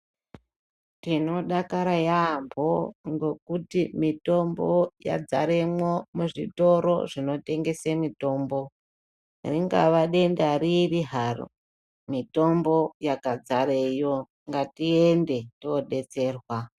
Tinodakara yambo ngokuti mitombo yadzarimo muzvitoro zvinotengese mitombo ringave denda ripi haro. Mitombo yakadzara iyo ngatiyende todetserwa.